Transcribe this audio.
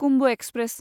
Kumbh express